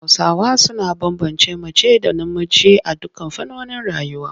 Hausawa suna bambance mace da namiji a dukkan fannonin rayuwa.